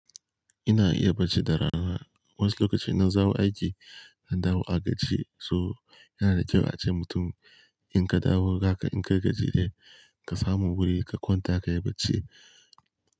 Ina iya barci da rana. Wasu lokaci nan zawo aiki, na dawo a gaje so yana da kyau ace mutum in ka dawo gaka in ka gaji dai ka samu wuri ka kwanta ka yi barci.